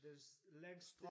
Det længste